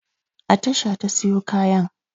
A tasha ta siyo kayan.